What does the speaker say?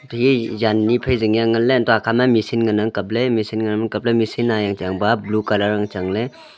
ate ye zyan ni phai jingka nganley untoh akhama machine ngan ang kapley machine ngan ang kapley machine yangchang ba blue colour ang changle.